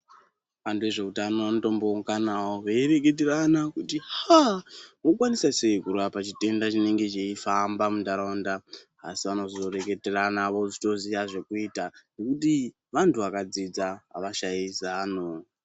Antu ezveutano anotombounganawo veireketerana kuti aaa wakwanisa sei kurapa chitenda chinenge cheifamba muntaraunda asi vanozoreketerana vozotoziya zvekuita nekuti vanhu vakadzidza avashayi zano.